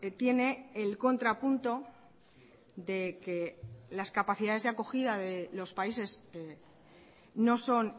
tiene el contrapunto de que las capacidades de acogida de los países no son